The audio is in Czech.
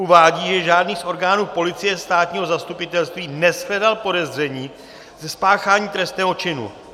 Uvádí, že žádný z orgánů policie, státního zastupitelství neshledal podezření ze spáchání trestného činu.